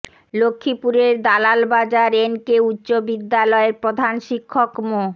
লক্ষ্মীপুরের Dalal Bazar N K উচ্চ বিদ্যালয়ের প্রধান শিক্ষক মো